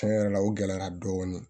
Tiɲɛ yɛrɛ la o gɛlɛyara dɔɔnin